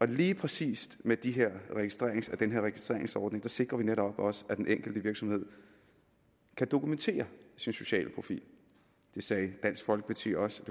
lige præcis med den her registreringsordning registreringsordning sikrer vi netop også at den enkelte virksomhed kan dokumentere sin sociale profil det sagde dansk folkeparti også